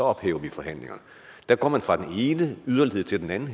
ophæver vi forhandlingerne her går man fra den ene yderlighed til den anden